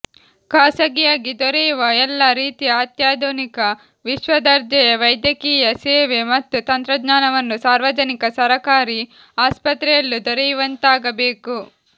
ಖಾಸಗಿಯಾಗಿ ದೊರೆಯುವ ಎಲ್ಲಾ ರೀತಿಯ ಅತ್ಯಾಧುನಿಕ ವಿಶ್ವದರ್ಜೆಯ ವೈದ್ಯಕೀಯ ಸೇವೆ ಮತ್ತು ತಂತ್ರಜ್ಞಾನವನ್ನು ಸಾರ್ವಜನಿಕ ಸರಕಾರಿ ಆಸ್ಪತ್ರೆಯಲ್ಲೂ ದೊರೆಯುವಂತಾಗಬೇಕು